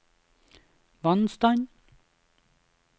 vannstand